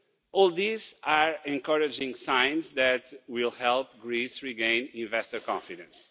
All these are encouraging signs that will help Greece to regain investor confidence.